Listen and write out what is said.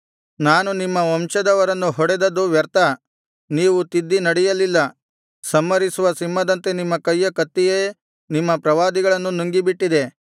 ನಾನು ನಿಮ್ಮ ವಂಶದವರನ್ನು ಹೊಡೆದದ್ದು ವ್ಯರ್ಥ ನೀವು ತಿದ್ದಿ ನಡೆಯಲಿಲ್ಲ ಸಂಹರಿಸುವ ಸಿಂಹದಂತೆ ನಿಮ್ಮ ಕೈಯ ಕತ್ತಿಯೇ ನಿಮ್ಮ ಪ್ರವಾದಿಗಳನ್ನು ನುಂಗಿಬಿಟ್ಟಿದೆ